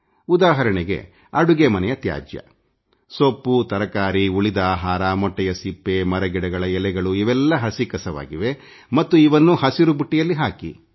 ಉದಾಹರಣೆಗೆ ಅಡುಗೆ ಮನೆಯ ತ್ಯಾಜ್ಯ ಸೊಪ್ಪು ತರಕಾರಿ ಉಳಿದ ಆಹಾರ ಮೊಟ್ಟೆಯ ಸಿಪ್ಪೆ ಮರಗಿಡಗಳ ಎಲೆಗಳು ಇವೆಲ್ಲ ಹಸಿ ಕಸವಾಗಿವೆ ಮತ್ತು ಇವೆಲ್ಲವನ್ನು ಹಸಿರು ಬುಟ್ಟಿಯಲ್ಲಿ ಹಾಕಿ